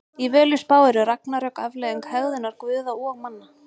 Í Völuspá eru ragnarök afleiðing hegðunar guða og manna.